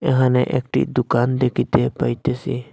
এহানে একটি দুকান দেখিতে পাইতেসি।